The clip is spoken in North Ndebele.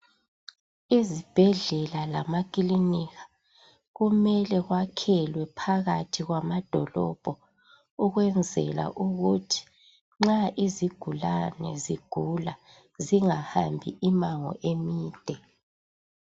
Izibhedlela lamakilinika kumele kwakhelwe phakathi kwamadolobho ukwenzela ukuthi nxa izigulani zigula zingahaambi immango emide.